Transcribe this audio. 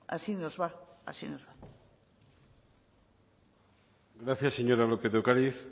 así nos va así nos va gracias señora lópez de ocariz